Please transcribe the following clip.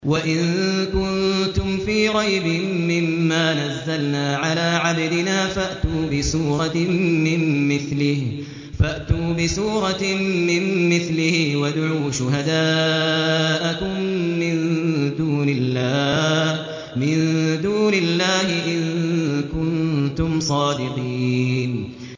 وَإِن كُنتُمْ فِي رَيْبٍ مِّمَّا نَزَّلْنَا عَلَىٰ عَبْدِنَا فَأْتُوا بِسُورَةٍ مِّن مِّثْلِهِ وَادْعُوا شُهَدَاءَكُم مِّن دُونِ اللَّهِ إِن كُنتُمْ صَادِقِينَ